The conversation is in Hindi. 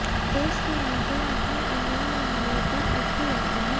देश की आंखें अपने इन नौनिहालों पर अटकी रहती हैं